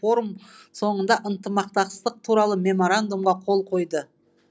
форум соңында ынтымақтастық туралы меморандумға қол қойды